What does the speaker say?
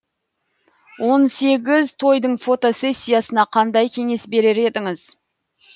он сегіз тойдың фотосессиясына қандай кеңес берер едіңіз